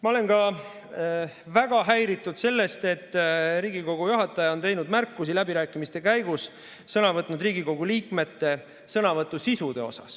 Ma olen ka väga häiritud sellest, et Riigikogu juhataja on teinud märkusi läbirääkimiste käigus sõna võtnud Riigikogu liikmete sõnavõtu sisu kohta.